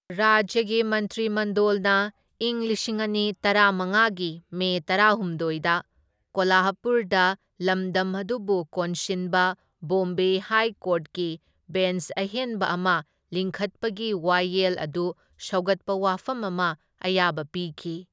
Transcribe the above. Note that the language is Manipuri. ꯔꯥꯖ꯭ꯌꯒꯤ ꯃꯟꯇ꯭ꯔꯤ ꯃꯟꯗꯣꯜꯅ ꯢꯪ ꯂꯤꯁꯤꯡ ꯑꯅꯤ ꯇꯔꯥꯃꯉꯥꯒꯤ ꯃꯦ ꯇꯔꯥꯍꯨꯝꯗꯣꯢꯗ ꯀꯣꯂꯍꯥꯄꯨꯔꯗ ꯂꯝꯗꯝ ꯑꯗꯨꯕꯨ ꯀꯣꯟꯁꯤꯟꯕ ꯕꯣꯝꯕꯦ ꯍꯥꯏ ꯀꯣꯔꯠꯀꯤ ꯕꯦꯟꯆ ꯑꯍꯦꯟꯕ ꯑꯃ ꯂꯤꯡꯈꯠꯄꯒꯤ ꯋꯥꯌꯦꯜ ꯑꯗꯨ ꯁꯧꯒꯠꯄ ꯋꯥꯐꯝ ꯑꯃ ꯑꯌꯥꯕ ꯄꯤꯈꯤ꯫